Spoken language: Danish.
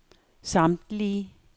samtlige